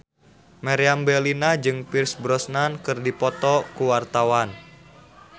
Meriam Bellina jeung Pierce Brosnan keur dipoto ku wartawan